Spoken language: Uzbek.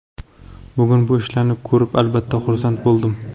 Bugun bu ishlarni ko‘rib, albatta xursand bo‘ldim.